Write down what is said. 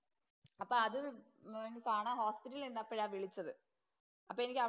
അപ്പൊ അത് കാണാന്‍ ഹോസ്പിറ്റലില്‍ നിന്നപ്പോഴാ വിളിച്ചത്. അപ്പം എനിക്ക്